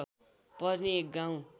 पर्ने एक गाउँ